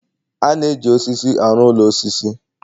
a na-eji osisi arụ ụlọ osisi